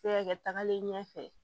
Se ka kɛ tagalen ɲɛfɛ